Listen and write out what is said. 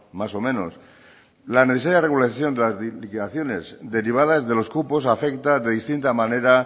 más o menos la necesidad de regularización de las liquidaciones derivadas de los cupos afecta de distinta manera